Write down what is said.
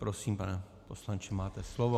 Prosím, pane poslanče, máte slovo.